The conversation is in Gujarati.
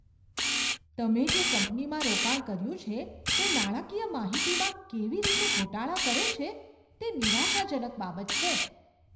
તમે જે કંપનીમાં રોકાણ કર્યું છે તે નાણાકીય માહિતીમાં કેવી રીતે ગોટાળા કરે છે તે નિરાશાજનક બાબત છે.